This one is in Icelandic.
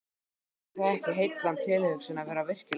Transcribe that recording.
Er það ekki heillandi tilhugsun að vera virkilega elskuð?